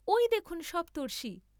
ঐ দেখুন সপ্তর্ষি।